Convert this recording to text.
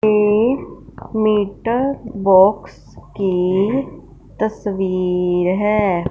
एक meter box की तस्वीर है।